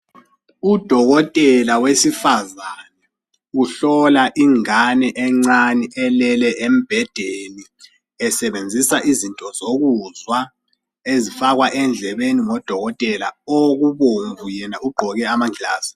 Udokotela wesifazane uhlola ingane encane elele embedeni esebenzisa izinto zokuzwa ezifakwa endlebeni ngodokotela okubomvu yena ugqoke amanglazi.